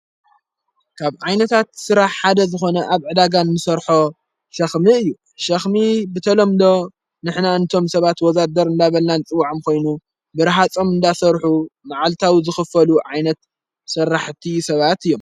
ካብ ዓይነታት ሥራሕ ሓደ ዝኾነ ኣብ ዕዳጋን ንሠርሖ ሸኽሚ እዩ ሸኽሚ ብተሎምዶ ንሕና እንቶም ሰባት ወዛደር እላበላ ንጽውዓም ኾይኑ ብርሓጾም እንዳሠርሑ መዓልታዊ ዘኽፈሉ ዓይነት ሠራሕቲ ሰባት እዮም።